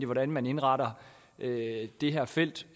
hvordan man indretter det det her felt